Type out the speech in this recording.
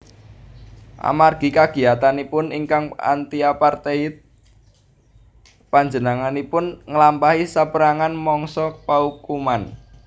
Amargi kagiyatanipun ingkang antiapartheid panjenenganipun nglampahi sapérangan mangsa paukuman